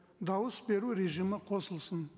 дауыс беру режимі қосылсын